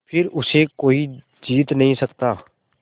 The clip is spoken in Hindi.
फिर उसे कोई जीत नहीं सकता